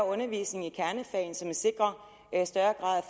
undervisning i kernefagene som sikrer en større grad